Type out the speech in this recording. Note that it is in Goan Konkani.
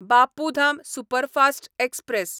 Bapu Dham superfast express